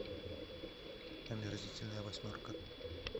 омерзительная восьмерка